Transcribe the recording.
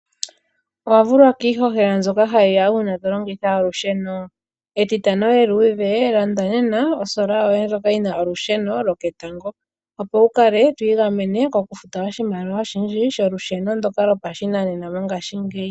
Owa vulwa kiihohela nzoka hayiya uuna to longitha olusheno etitano eluudhe landa nena osola yoye ndjoka yina olusheno loketango opo wukale to igamene kokufuta oshimaliwa oshindji sholusheno ndoka lopa shinanena mongashingeyi.